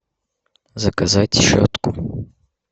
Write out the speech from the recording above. заказать щетку